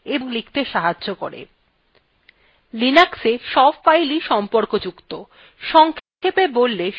linux সব fileswe সম্পর্কযুক্ত সংক্ষেপে বললে সব files একটি পরিবার তৈরী করে